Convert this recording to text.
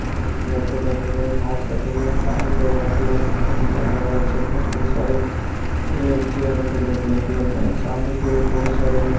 laptop रखा गया है माउस रखा गया है एंड सामने एक व्हाइट कलर का पंखा नजर आ रहा है राइट साइड में बहुत सारे से चेयर रखा गया है ब्लैक कलर का एंड सामने के और बहुत सारे --